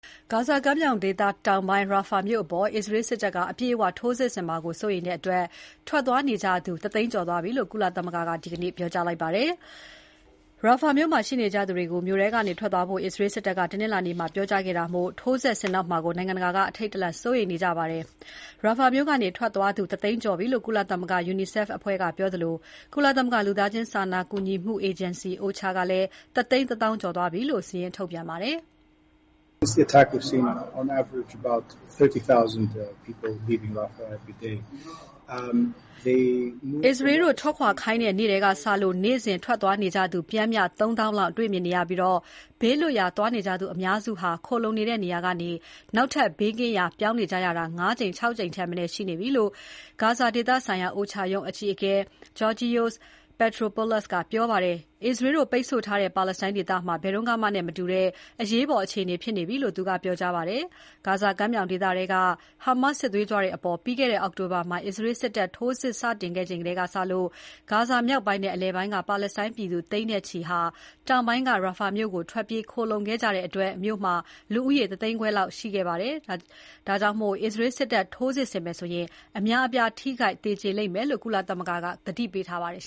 ဂါဇာကမ်းမြောင်ဒေသတောင်ပိုင်း Rafah မြို့အပေါ် အစ္စရေးစစ်တပ်က အပြည့်အဝထိုးစစ်ဆင်မှာကို စိုးရိမ်တဲ့အတွက် ဘေးလွတ်ရာ ထွက်သွားနေကြသူ ၁ သိန်းကျော်သွားပြီလို့ ကုလသမဂ္ဂက ဒီနေ့ သောကြာနေ့မှာ ပြောကြားပါတယ်။ Rafah မြို့မှာရှိနေကြသူတွေကို မြို့ထဲကနေ ထွက်သွားဖို့ အစ္စရေး စစ်တပ်က တနင်္လာနေ့မှာ ပြောကြားခဲ့တာမို့ ထိုးစစ်ဆင်တော့မှာကို နိုင်ငံတကာက အထိတ်တလန့် စိုးရိမ်နေကြပါတယ်။ Rafah မြို့က ထွက်သွားသူ ၁ သိန်းကျော်ပြီလို့ ကုလသမဂ္ဂ UNICEF အဖွဲ့ကပြောသလို ကုလသမဂ္ဂ လူသားချင်းစာနာကူညီမှုအေဂျင်စီ OCHA က ၁ သိန်း ၁ သောင်းကျော်သွားပြီလို့ စာရင်း ထုတ်ပြန်ပါတယ်။ အစ္စရေးတို့ထွက်ခွာခိုင်းတဲ့နေ့ကတည်းကစလို့ နေ့စဉ် ထွက်သွားနေကြသူ ပျှမ်းမျှ ၃ သောင်းလောက် တွေ့မြင်နေရပြီး ဘေးလွတ်ရာသွားနေကြသူ အများစုဟာ ခိုလှုံနေတဲ့နေရာကနေ ဘေးကင်းရာ ထပ်ပြောင်းနေကြရတာ ၅ ကြိမ် ၆ ကြိမ်ထက်မနည်း ရှိနေပြီလို့ ဂါဇာဒေသဆိုင်ရာ OCHA ရုံးအကြီးအကဲ Georgios Petropoulos ကပြောပါတယ်။ အစ္စရေးတို့ ပိတ်ဆို့ထားတဲ့ပါလက်စတိုင်း ဒေသမှာ ဘယ်တုန်းကမှနဲ့မှ မတူတဲ့ အရေးပေါ် အခြေအနေဖြစ်နေပြီလို့ သူကပြောကြားပါတယ်။ ဂါဇာကမ်းမြောင်ဒေသထဲက Hamas စစ်သွေးကြွတွေအပေါ် ပြီးခဲ့တဲ့ အောက်တိုဘာမှာ အစ္စရေး စစ်တပ်ထိုးစစ် စတင်ခဲ့ချိန်ကစလို့ ဂါဇာမြောက်ပိုင်းနဲ့ အလယ်ပိုင်းက ပါလက်စတိုင်းပြည်သူ သိန်းနဲ့ချီ တောင်ပိုင်းက Rafah မြို့ကို ထွက်ပြေးခိုလှုံခဲ့ကြတဲ့အတွက် မြို့မှာ လူဦးရေ ၁ သိန်းခွဲလောက် ရှိခဲ့တာမို့ အစ္စရေး စစ်တပ် ထိုးစစ်ဆင်မယ်ဆိုရင် အများအပြား ထိခိုက်သေကြေလိမ့်မယ်လို့ ကုလသမဂ္ဂက သတိပေးထားပါတယ်